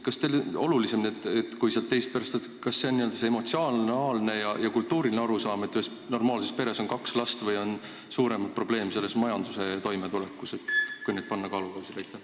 Kumb on teie arvates selle probleemi puhul olulisem: kas see n-ö emotsionaalne ja kultuuriline arusaam, et ühes normaalses peres on kaks last, või majandusliku toimetuleku raskused, kui need kaks kaalukausile panna?